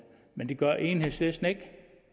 men det gør enhedslisten ikke